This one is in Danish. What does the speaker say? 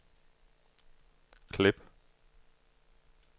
klip